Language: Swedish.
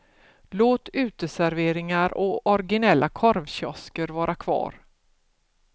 Låt uteserveringar och originella korvkiosker vara kvar.